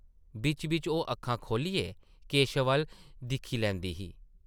बिच्च-बिच्च ओह् अक्खां खोह्ल्लियै केशव अʼल्ल दिक्खी लैंदी ही ।